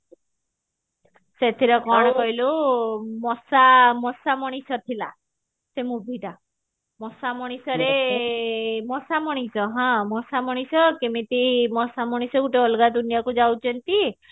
ସେଥିରେ କଣ କହିଲୁ ମସା ମଣିଷ ଥିଲା ସେ movie ଟା ମସା ମଣିଷରେ ମଶା ମଣିଷ ହଁ ମଶା ମଣିଷ କେମିତି ମଶା ମଣିଷ ଗୋଟେ ଅଲଗା ଦୁନିଆ କୁ ଯାଉଛନ୍ତି